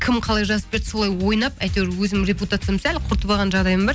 кім қалай жазып берді солай ойнап әйтеуір өзім репутациямды сәл құртып алған жағдайым бар